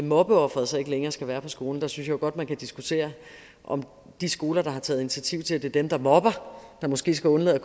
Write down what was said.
mobbeofferet så ikke længere skal være på skolen der synes jeg jo godt man kan diskutere om de skoler der har taget initiativ til at det er dem der mobber der måske skal undlade at